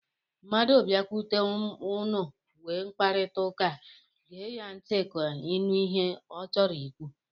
Mmadụ biakwute unu nwee mkparịtaụka, gee ya ntị ka ị nụ ihe ọ chọrọ ikwu.